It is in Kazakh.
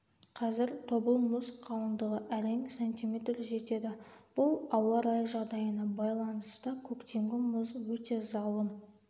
қазір тобыл мұз қалындығы әрең см жетеді бұл ауа райы жағдайына байланысты көктемгі мұз өте залым